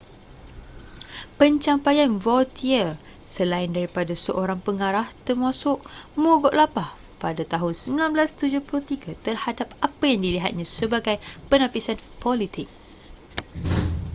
pencapaian vautier selain daripada seorang pengarah termasuk mogok lapar pada tahun 1973 terhadap apa yang dilihatnya sebagai penapisan politik